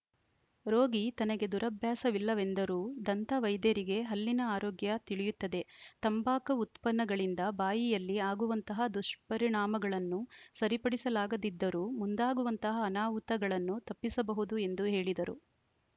ರೋಗಿ ತನಗೆ ದುರಭ್ಯಾಸವಿಲ್ಲವೆಂದರೂ ದಂತ ವೈದ್ಯರಿಗೆ ಹಲ್ಲಿನ ಆರೋಗ್ಯ ತಿಳಿಯುತ್ತದೆ ತಂಬಾಕು ಉತ್ಪನ್ನಗಳಿಂದ ಬಾಯಿಯಲ್ಲಿ ಆಗುವಂತಹ ದುಷ್ಪರಿಣಾಮಗಳನ್ನು ಸರಿಪಡಿಸಲಾಗದಿದ್ದರೂ ಮುಂದಾಗುವಂತಹ ಅನಾಹುತಗಳನ್ನು ತಪ್ಪಿಸಬಹುದು ಎಂದು ಹೇಳಿದರು